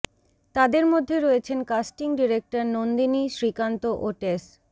তাদের মধ্যে রয়েছেন কাস্টিং ডিরেক্টর নন্দিনি শ্রীকান্ত ও টেস